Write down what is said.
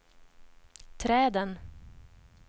träden